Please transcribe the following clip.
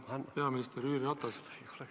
Austatud peaminister Jüri Ratas!